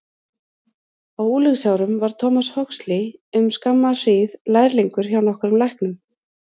Á unglingsárum var Thomas Huxley um skamma hríð lærlingur hjá nokkrum læknum.